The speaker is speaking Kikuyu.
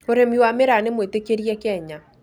Ũrĩmi wa mĩraa nĩ mwĩtĩkĩrie Kenya